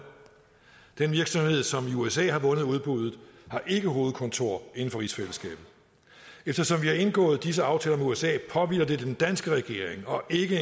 den virksomhed som i usa har vundet udbuddet har ikke hovedkontor inden for rigsfællesskabet eftersom vi har indgået disse aftaler med usa påhviler det den danske regering og ikke